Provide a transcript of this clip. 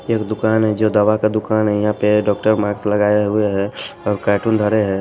एक दुकान है जो दवा का दुकान है यहां पे डॉक्टर मार्क्स लगाए हुए हैंऔर कार्टून धरे हैं।